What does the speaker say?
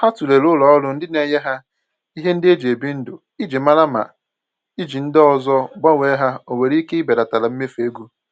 Ha tụlere ulọọrụ ndị na-enye ha ihe ndị e ji ebi ndụ iji mara ma iji ndị ọzọ gbanwee ha o nwere ike ibelatara mmefu ego.